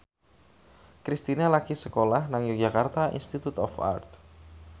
Kristina lagi sekolah nang Yogyakarta Institute of Art